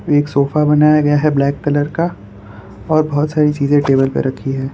एक सोफा बनाया गया है ब्लैक कलर का और बहोत सारी चीजें टेबल पे रखी हैं।